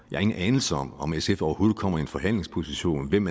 har ingen anelse om om sf overhovedet kommer i en forhandlingsposition hvem